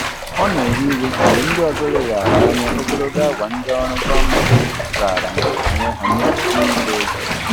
Ọ na-ewe iwe mgbe ndị ọzọ leghaara anya ogologo awa ndị ọrụ gọọmentị raara onwe ha nye n'ije ozi.